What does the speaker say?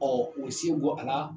Ɔ u se bɔ a la